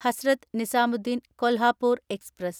Hazrat Nizamuddin Kolhapur express